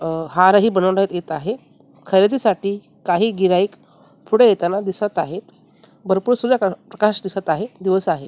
अ हारही बनवण्यात येत आहे खरेदीसाठी काही गिऱ्हाईक पुढं येताना दिसत आहेत भरपूर सुद्धा प्रकाश दिसत आहे दिवस आहे .